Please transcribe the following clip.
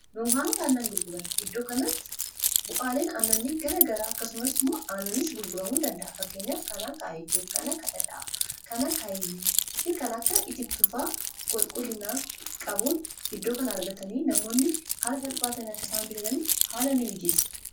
duunkaanota aannan gurguran iddoo kanatti bu'aaleen aannanni gara garaa akkasumas immoo aannanis gurguramuu dandaa,a fakkeenyaaf kan akka aayetu kanaa dhadhaa kanaa aayibi fi kana akka itittufaa qulqulinaa qabuun iddoo kana argatanii namoonni haala salphaatin akka isaan bitatan haala ni mijeessa.